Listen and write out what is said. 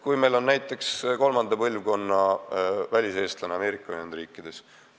Võtame näiteks kolmanda põlvkonna väliseestlased Ameerika Ühendriikides.